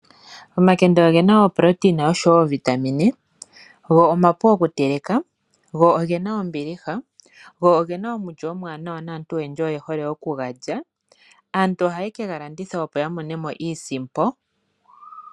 Omakende ogena oProtein oshowo oVitamin, go omapu okuteleka, go ogena ombiliha, go ogena omulyo omuwanawa naantu oyendji oye hole okugalya. Aantu ohaye ke galanditha opo yamone mo iisimpo.